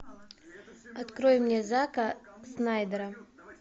открой мне зака снайдера